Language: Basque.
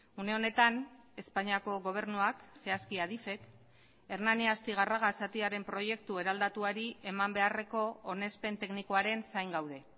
une honetan espainiako gobernuak zehazki adifek hernani astigarraga zatiaren proiektu eraldatuari eman beharreko onespen teknikoaren zain gaude